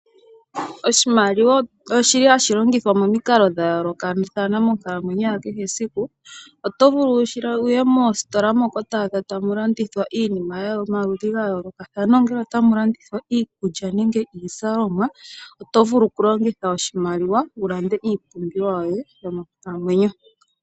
Oshimaliwa ohashi longithwa momikalo dha yooloka monkalamwenyo ya kehe esiku. Oto vulu wu ye moositola to adha tamu landithwa iinima yomaludhi ga yoolokathana ongele otamu landithwa iikulya nenge iizalomwa, oto vulu okulongitha oshimaliwa wu lande iipumbiwa yoye yomonkalamwenyo.